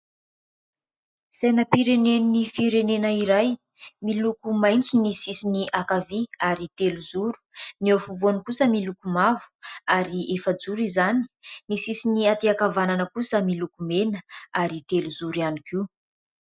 Sainam-pirenen'ny firenena iray. Miloko mainty ny sisiny ankavia ary telo zoro. Ny eo efovoany kosa miloko mavo ary efa-joro izany. Ny sisiny aty ankavanana kosa miloko mena ary telo zoro ihany koa.